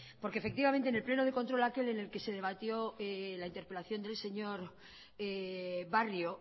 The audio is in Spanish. porque efectivamente en el pleno de control aquel en el que se debatió la interpelación del señor barrio